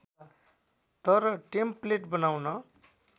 तर टेम्प्लेट बनाउन